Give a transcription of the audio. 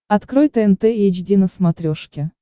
открой тнт эйч ди на смотрешке